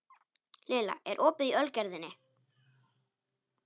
Lilla, er opið í Ölgerðinni?